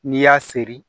N'i y'a seri